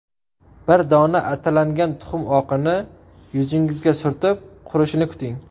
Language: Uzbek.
Bir dona atalangan tuxum oqini yuzingizga surtib, qurishini kuting.